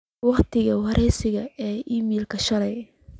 waqtiga waraysiga ee iimaylka shalay